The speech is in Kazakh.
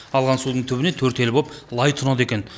алған судың түбіне төрт елі боп лай тұнады екен